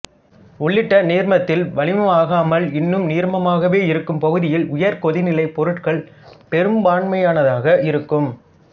உள்ளிட்ட நீர்மத்தில் வளிமமாகாமல் இன்னும் நீர்மமாகவே இருக்கும் பகுதியில் உயர்கொதிநிலைப் பொருட்கள் பெரும்பான்மையினதாக இருக்கும்